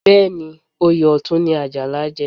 Bẹ́ẹ̀ ni, oyè Ọ̀tún ni Àjàlá jẹ